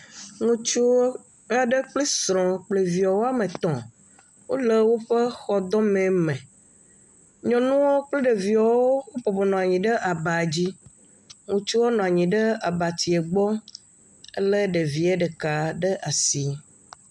Ŋutsu aɖe kpli srɔ kple viawo, woame tɔ̃, wole woƒe xɔdɔme me, nyɔnuɔ kple ɖeviɔwo wobɔbɔ nɔ anyi aba dzi, ŋutsuɔ nɔ abatie gbɔ lé ɖevie ɖeka ɖe asi.